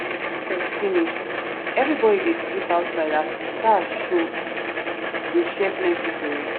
as harvest finish everybody dey sleep outside as star show dey share plenty tori.